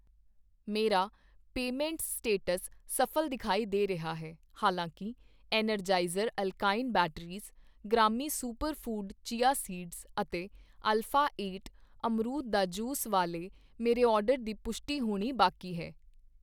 ਮੇਰਾ payment status ਸਫਲ ਦਿਖਾਈ ਦੇ ਰਿਹਾ ਹੈ ਹਾਲਾਂਕਿ ਐਨਰਜਾਇਜ਼ਰ ਐਲਕਾਲਾਈਨ ਬੈਟਰੀਜ਼ ਗ੍ਰਾਮੀ ਸੁਪਰ ਫੂਡ ਚਿਆ ਸੀਡਜ਼ ਅਤੇ ਅਲਫਾ ਏਟ ਅਮਰੂਦ ਦਾ ਜੂਸ ਵਾਲੇ ਮੇਰੇ ਆਰਡਰ ਦੀ ਪੁਸ਼ਟੀ ਹੋਣੀ ਬਾਕੀ ਹੈ